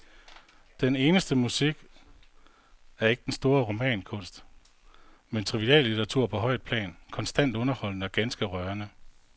Den eneste musik er ikke den store romankunst, men triviallitteratur på højt plan, konstant underholdende og ganske rørende.